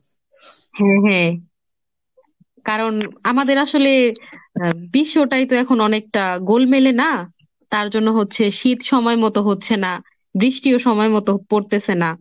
হ্যাঁ হ্যাঁ, কারণ আমাদের আসলে আহ বিশ্বটাই তো এখন অনেকটা গোলমেলে না তার জন্য হচ্ছে শীত সময় মতো হচ্ছে না, বৃষ্টিও সময় মতো পরতেছে না।